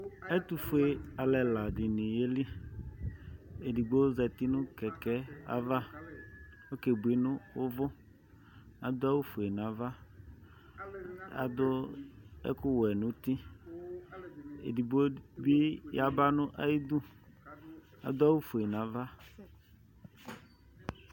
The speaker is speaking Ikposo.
atʋƒʋe alʋ ɛla dini yeli azati nʋ kɛkɛ azati akebʋi nʋ ʋvʋƒʋe nava adʋ ɛkʋwɛ nʋ ʋti edigbobi yaba nayidʋ adʋ awʋƒʋe nava